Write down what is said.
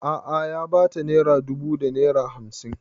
A'a ya ba ta naira dubu da naira hamsin